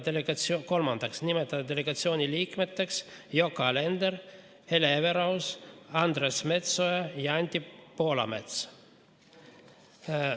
Kolmandaks, nimetada delegatsiooni liikmeteks Yoko Alender, Hele Everaus, Andres Metsoja ja Anti Poolamets.